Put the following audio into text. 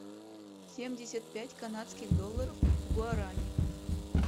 семьдесят пять канадских долларов в гуарани